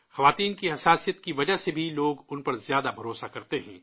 عورتوں کی حساسیت کی وجہ سے بھی لوگ ان پر زیادہ بھروسہ کرتے ہیں